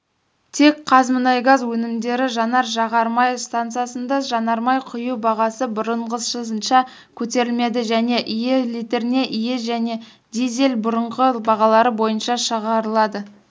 тек қазмұнайгаз өнімдері жанар-жағар май стансасында жанармай құю бағасы бұрынғысынша көтерілмеді және іи литріне іи және дизель бұрынғы бағалары бойынша шығарылады